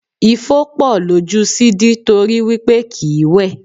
Ifo pọ̀ lójú Sidi torí wí pé kìí wẹ̀.